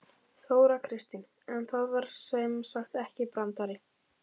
Þóra Kristín: En það var sem sagt ekki brandari?